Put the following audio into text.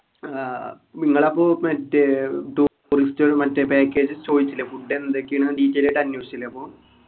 ആഹ് നിങ്ങളപ്പോ മറ്റേ trourist മറ്റേ package ചോയിച്ചില്ലേ food എന്തൊക്കെയാണ് detail ആയിട്ട് അന്വേഷിച്ചിലെ അപ്പൊ